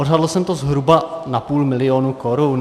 Odhadl jsem to zhruba na půl milionu korun.